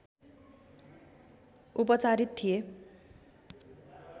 उपचारित थिए